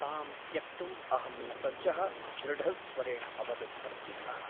तां त्यक्तुम् अहं न सज्जः दृढस्वरेण अवदत् प्रद्युम्नः ।